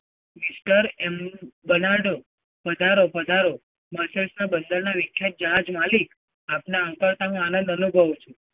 mister m banardo પધારો, પધારો. મોકેશ ના બંદરના વિખ્યાત જહાજ માલિક આપના આવતા અંતરનો આનંદ અનુભવું છું.